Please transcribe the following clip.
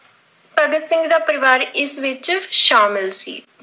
ਭਗਤ ਸਿੰਘ ਦਾ ਪਰਿਵਾਰ ਇਸ ਵਿੱਚ ਸ਼ਾਮਿਲ ਸੀ।